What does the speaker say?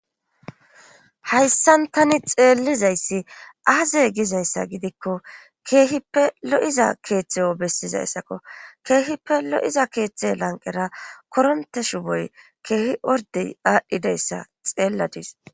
hayssan tani xeellizayssi aaze gizayssa gidikko keehippe lo7iza keeththeyo bessizayssakko keehippe lo7iza keeththe lanqera koronte shu boy keehi ordey aadhdhidayssa xeelladis